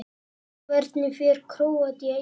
Hvernig fer Króatía- Ísland?